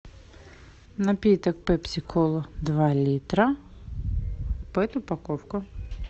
напиток пепси кола два литра пэт упаковка